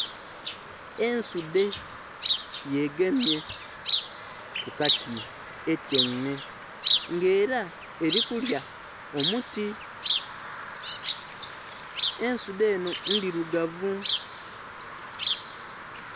Ensudhe yegemye kukati etyeime nga era erikulya omuti, ensudhe enho endhirugavu